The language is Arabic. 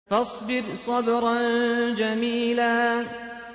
فَاصْبِرْ صَبْرًا جَمِيلًا